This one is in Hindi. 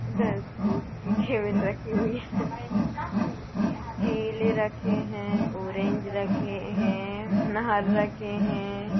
इधर फ्रूट्स की टेबल रखी हुई है। केले रखे है ऑरेंज रखे है अनार रखे है।